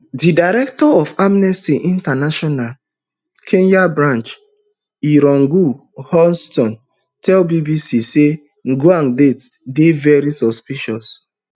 di director of amnesty international kenya branch irungu houghton tell bbc say ojwang death dey very suspicious